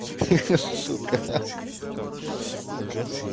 ахаха сука ахаха а красив